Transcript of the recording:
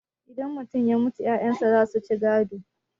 idan mutum ya mutu 'ya'yansa za su ci gado